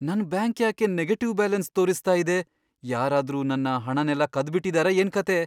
ನನ್ ಬ್ಯಾಂಕ್ ಯಾಕೆ negative balance ತೋರಿಸ್ತಾ ಇದೆ? ಯಾರಾದ್ರೂ ನನ್ನ ಹಣನೆಲ್ಲ ಕದ್ಬಿಟಿದಾರಾ ಏನ್ಕಥೆ?